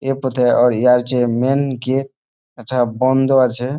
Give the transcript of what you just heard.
ইহার পথে ইহার যে মেইন গেট এটা বন্ধ আছে।